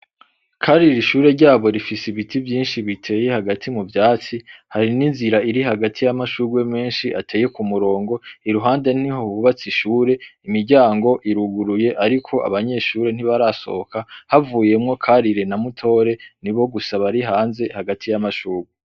Karire ishure ryabo rifise ibiti vyishi biteye hagati mu vyatsi, hari n' inzira iri hagati y' amashurwe menshi ateye ku murongo iruhande niho hubatse ishure, imiryango iruguruye ariko abanyeshure ntibarasohoka, havuyemwo Karire na Mutore nibo gusa bari hanze hagati y'amashurwe.